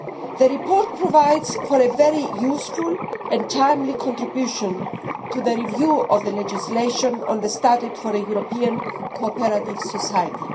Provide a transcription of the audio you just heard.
The report provides a very useful and timely contribution to the review of the legislation on the Statute for a European Cooperative Society.